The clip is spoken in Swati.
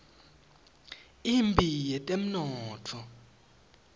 imphi yetemnotfo